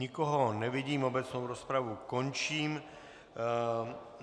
Nikoho nevidím, obecnou rozpravu končím.